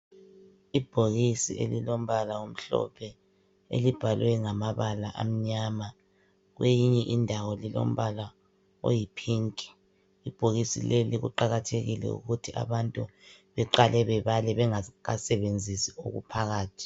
Ibhokisi elilombala omhlophe elibhaliweyo ngamabala amnyama kweyinye indawo lilombala oyi phinki ibhokisi leli kuqakathekile ukuthi abantu beqale bebale bengakasebenzisi okuphakathi.